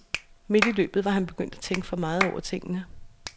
Midt i løbet var han begyndt at tænke for meget over tingene.